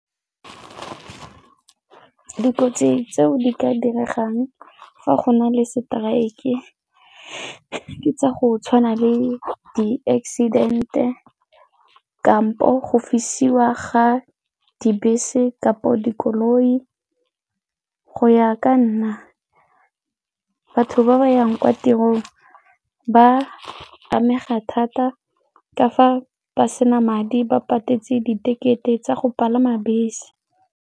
Dikotsi tseo di ka diregang fa go na le strike e ke tsa go tshwana le di-accident kampo go fisiwa ga dibese kapo dikoloi. Go ya ka nna batho ba ba yang kwa tirong ba amega thata ka fa ba sena madi ba patetse di-ticket-e tsa go palama bese.